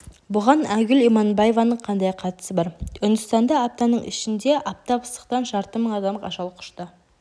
бұған айгүл иманбаеваның қандай қатысы бар үндістанда аптаның ішінде аптап ыстықтан жарты мың адам ажал құшты